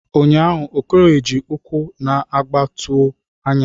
Ụnyahụ Okoye ji ụkwụ na-aga tụọ anya.